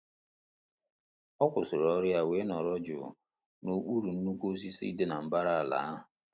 Ọ kwụsịrị ọrụ ya wee nọrọ jụụ n'okpuru nnukwu osisi dị na mbara ala ahụ.